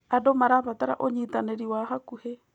Andũ marabatara ũnyitanĩri wa hakuhĩ.